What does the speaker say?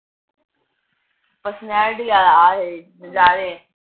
personality ਆਲਾ ਆਜੇ, ਨਜਾਰੇ।